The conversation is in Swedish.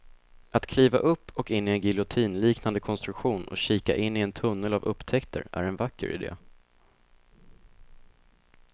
Att kliva upp och in i en giljotinliknande konstruktion och kika in i en tunnel av upptäckter är en vacker idé.